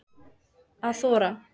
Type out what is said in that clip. Að þora